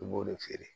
I b'o de feere